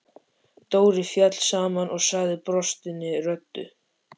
Dóri féll saman og sagði brostinni röddu: